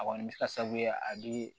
A kɔni bɛ se ka sababu ye a bɛ